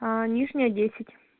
нижняя десять